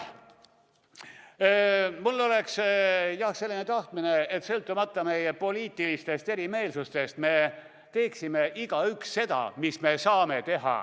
Ma tahan, et sõltumata meie poliitilistest erimeelsustest teeksime me igaüks seda, mida me teha saame.